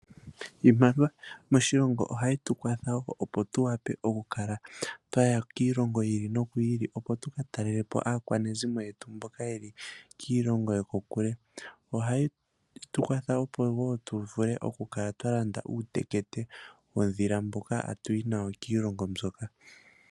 Iimaliwa moshilongo ohaye tukwatha opo tuwape oku kala twaya kiilongo yi ili noyi ili opo tuka talelepo aakwanezimo yetu mboka yeli kiilongo yetu yokokule. ohayi tukwatha opo tuvule okukala twalanda uutekete womvula mboka hatuyi nawo kiilongo mboka.